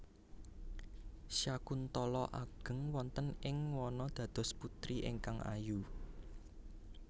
Syakuntala ageng wonten ing wana dados putri ingkang ayu